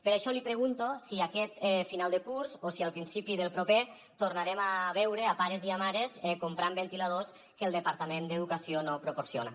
per això li pregunto si aquest final de curs o si al principi del proper tornarem a veure pares i mares comprant ventiladors que el departament d’educació no proporciona